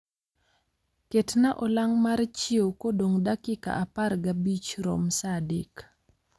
Ketnaa olang' mar chiew kodong dakika apar ga bich rom saa adek